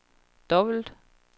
dobbelt